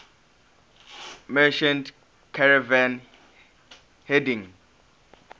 merchant caravan heading